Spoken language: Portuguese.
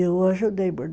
Eu ajudei a bordar.